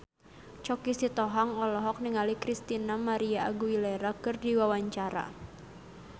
Choky Sitohang olohok ningali Christina María Aguilera keur diwawancara